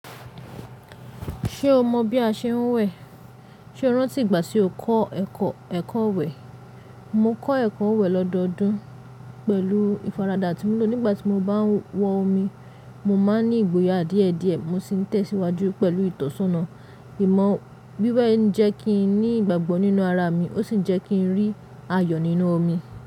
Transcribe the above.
Ṣé o mọ̀ bí a ṣe ń wẹ̀? Ṣé o rántí ìgbà tí o kọ́ ẹ̀kọ́, ẹ̀kọ́ iwẹ̀? Mo kọ́ ẹ̀kọ́ iwẹ̀ lọ́dọọdún pẹ̀lú ìfaradà tí mo lò nígbà tí mo bá ń wọ omi. Mo máa ń ní ìgboyà díẹ̀ díẹ̀, mo sì ń tẹ̀síwájú pẹ̀lú ìtọ́súnmọ́. Ìmọ̀ wíwẹ̀ ń jẹ́ kí n ní ìgbàgbọ́ nínú ara mi, ó sì ń jẹ́ kí ń rí ayọ̀ nínú omi.